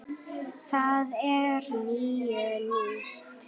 Það er nú týnt.